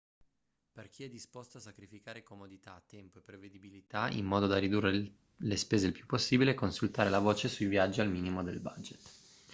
per chi è disposto a sacrificare comodità tempo e prevedibilità in modo da ridurre le spese il più possibile consultare la voce sui viaggi al minimo del budget